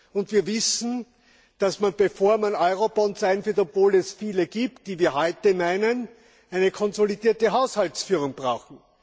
Und wir wissen, dass man, bevor man Eurobonds einführt obwohl es viele gibt, die wir heute meinen eine konsolidierte Haushaltsführung braucht.